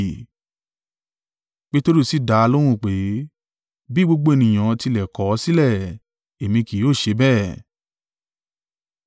Peteru sì dá a lóhùn pé, “Bí gbogbo ènìyàn tilẹ̀ kọ̀ ọ́ sílẹ̀, èmi kì yóò ṣe bẹ́ẹ̀.”